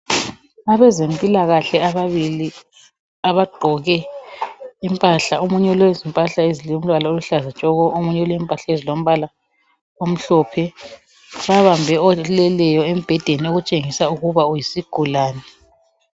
Abezempilakahle abzbili abagqoke impahla, omunye ulempahla ezilombala oluhlazatshoko, omunye ulempahla esilombala omhlophe, ubambe oleleyo embhedeni otshengisa ukuba uyisigulane